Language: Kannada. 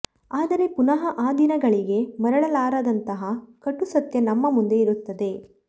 ಅದರೆ ಪುನಃ ಆ ದಿನಗಳಿಗೆ ಮರಳಲಾರದಂತಹ ಕಟು ಸತ್ಯ ನಮ್ಮ ಮುಂದೆ ಇರುತ್ತದೆ